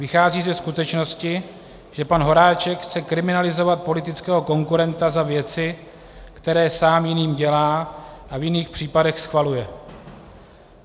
Vychází ze skutečnosti, že pan Horáček chce kriminalizovat politického konkurenta za věci, které sám jiným dělá a v jiných případech schvaluje.